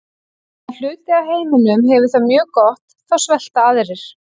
Á meðan hluti af heiminum hefur það mjög gott þá svelta aðrir.